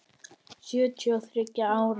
Sjötíu og þriggja ára!